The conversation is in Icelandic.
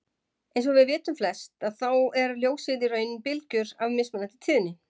Eins og við vitum flest að þá er ljósið í raun bylgjur af mismunandi tíðni.